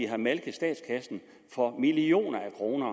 har malket statskassen for millioner af kroner